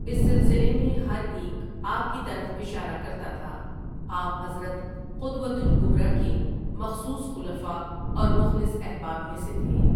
اس سلسلے میں ہر ایک آپ کی طرف اشارہ کرتا تھا، آپ حضرت قدوۃ الکبریٰ کے مخصوص خلفاء اور مخلص احباب میں سے تھے ۔